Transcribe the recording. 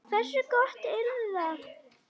Hversu gott yrði það?